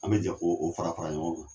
An bɛ jɛn ko o fara fara ɲɔgɔn kan.